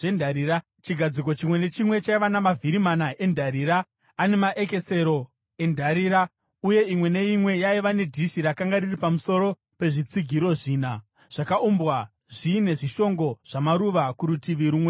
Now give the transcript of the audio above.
Chigadziko chimwe nechimwe chaiva namavhiri mana endarira ane maekesero endarira, uye imwe neimwe yaiva nedhishi rakanga riri pamusoro pezvitsigiro zvina, zvakaumbwa zviine zvishongo zvamaruva kurutivi rumwe norumwe.